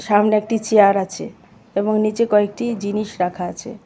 সামনে একটি চেয়ার আছে এবং নীচে কয়েকটি জিনিস রাখা আছে.